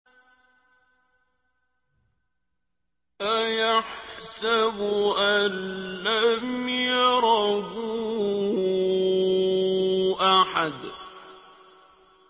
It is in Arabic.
أَيَحْسَبُ أَن لَّمْ يَرَهُ أَحَدٌ